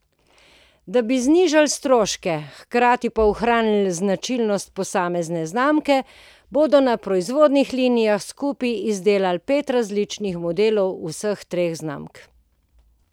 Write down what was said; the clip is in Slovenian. Da bi znižali stroške, hkrati pa ohranili značilnosti posamezne znamke, bodo na proizvodnih linijah skupaj izdelovali pet različnih modelov vseh treh znamk.